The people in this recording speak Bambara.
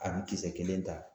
A bɛ kisɛ kelen ta